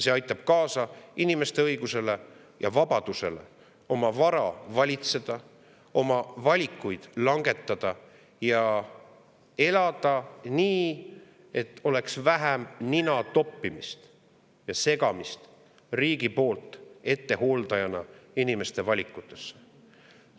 See aitab inimeste õiguse ja vabaduse oma vara valitseda, oma valikuid langetada ja elada nii, et oleks vähem riigi ettehooldust, segamist ja nina toppimist inimeste valikutesse.